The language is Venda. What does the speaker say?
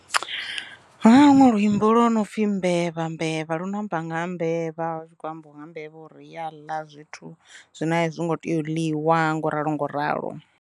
Huna luṅwe luimbo lwo no pfi mbevha mbevha luno amba nga ha mbevha hu tshi kho ambiwa nga mbevha u ri ya ḽa zwithu zwine a zwi ngo tea u ḽiwa ngo ralo ngo ralo.